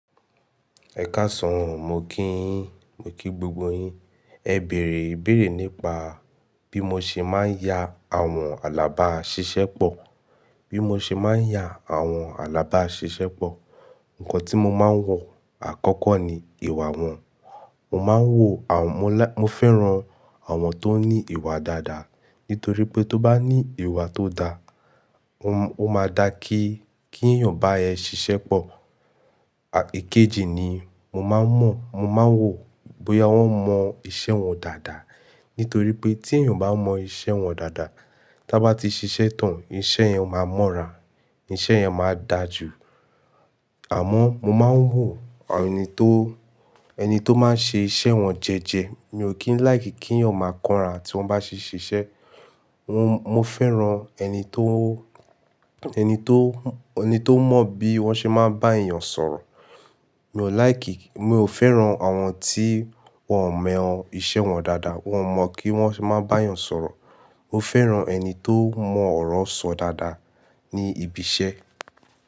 Ẹ káàsán oh, mo kí i yín, mo kí gbogbo yín. Ẹ bèèrè ibèèrè nípa bí mo ṣe máa ń ya àwọn alábáàṣiṣẹ́ pọ̀, bí mo ṣe máa ń ya àwọn alábáàṣiṣẹ́ pọ̀. Nǹkan tí mo máa ń wò, àkọ́kọ́ ni ìwà wọn. Mo máa ń wò àwọn, mo fẹ́ran àwọn tó ní ìwà dáadáa nítorí pé tó bá ní ìwà tó da, ó máa da kí, kí èèyàn bá ẹ ṣiṣẹ́ pọ̀. Èkejì ni mo máa ń mọ̀, mo máa ń wò bóyá wọ́n mọ iṣẹ́ wọn dáadáa. Nítorí pé tí èèyàn bá mọ iṣẹ́ wọn dáadáa, tí a bá ti ṣiṣẹ́ tán, iṣẹ́ yẹn máa mọ́ra, iṣẹ́ yẹn máa dà jú. Àmọ́ mo máa ń wò ẹni tó, ẹni tó máa ń ṣe iṣẹ́ wọn jẹ́ẹ́jẹ́. Mi ò kí ń like kí èèyàn máa kánra tí wọ́n bá ṣe ṣiṣẹ́. Mo Mo fẹ́ran ẹni tó, ẹni tó, ẹni tó mọ bí wọ́n ṣe máa ń bá èèyàn sọ̀rọ̀. Mi ò like, mi ò fẹ́ran àwọn tí wọ́n ò mọ iṣẹ́ wọn dáadáa, wọ́n ò mọ kí wọ́n ṣe máa ń bá èèyàn sọ̀rọ̀. Mo fẹ́ran ẹni tó mọ ọ̀rọ̀ sọ dáadáa ní ibi iṣẹ́